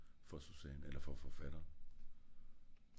for susanne eller for forfatter